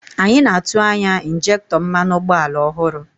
Anyị na-atụ anya injektọ mmanụ ụgbọala ọhụrụ